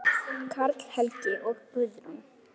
Karl Helgi og Guðrún.